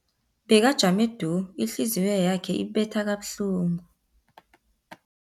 Bekajame du, ihliziyo yakhe ibetha kabuhlungu.